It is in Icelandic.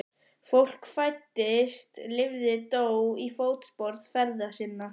Fólk fæddist lifði dó í fótspor feðra sinna.